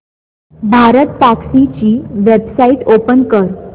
भारतटॅक्सी ची website open कर